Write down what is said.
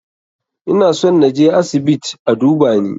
Ina son na je asibiit a duba ni.